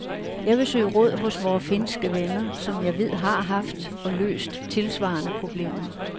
Jeg vil søge råd hos vore finske venner, som jeg ved har haft og løst tilsvarende problemer.